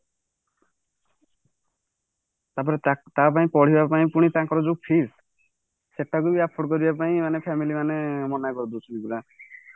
ତମର ତା ପାଇଁ ପଢିବା ପାଇଁ ପୁଣି ତାଙ୍କର ଯୋଉ fees ସେଟାବି afford କରିବା ପାଇଁ ଆମ family ମାନେ ମନା କରିଦଉଛନ୍ତି ନା